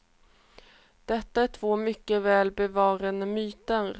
Detta är två mycket väl bevarade myter.